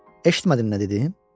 Eşitmədin nə dedim?